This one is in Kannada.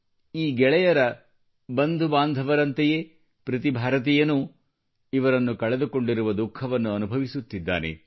ಈ ಗೆಳೆಯರ ಬಂಧು ಬಾಂಧವರಂತೆಯೇ ಪ್ರತಿ ಭಾರತೀಯನೂ ಇವರನ್ನು ಕಳೆದುಕೊಂಡಿರುವ ದುಖಃವನ್ನು ಅನುಭವಿಸುತ್ತಿದ್ದಾನೆ